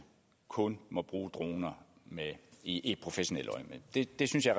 kun må bruge droner i professionelt øjemed det det synes jeg